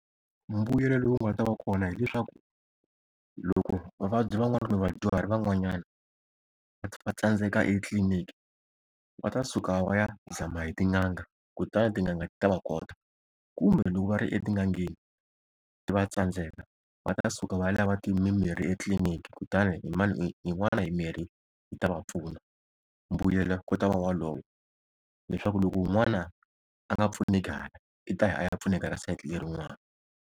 Mbuyelo lowu nga ta va kona hileswaku, loko vavabyi van'wana kumbe vadyuhari van'wanyana va tsandzeka etliliniki va ta suka va ya zama hi tin'anga, kutani tin'anga ti ta va kota. Kumbe loko va ri etin'angeni ti va tsandzeka, va ta suka va ya lava mimirhi etliliniki kutani hi yin'wana mimirhi yi ta va pfuna. Mbuyelo ku ta va wolowo leswaku loko un'wana a nga pfuneki hala i ta ya a ya pfuneka ka sayiti lerin'wani.